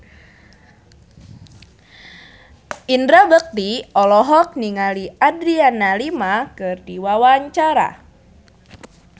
Indra Bekti olohok ningali Adriana Lima keur diwawancara